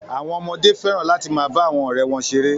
Àwọn ọmọdé fẹ́ràn láti máa bá àwọn ọ̀rẹ́ wọn ṣeré.